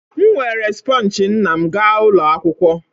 M weere sponge nna m gaa ụlọ akwụkwọ